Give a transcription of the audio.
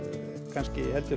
kannski heldur